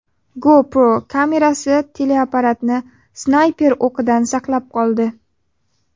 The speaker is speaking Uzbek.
GoPro kamerasi teleoperatorni snayper o‘qidan saqlab qoldi.